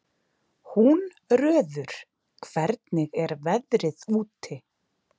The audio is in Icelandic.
Húnröður, hvernig er veðrið úti?